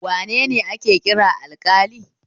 Wanene ake kira alƙali?